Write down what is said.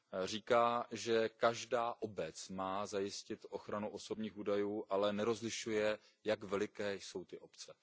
Říká, že každá obec má zajistit ochranu osobních údajů, ale nerozlišuje, jak veliké jsou ty obce.